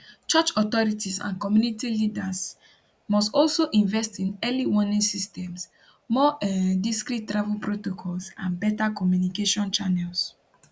church authorities and community leaders must to also invest in early warning systems more um discreet travel protocols and beta communication channels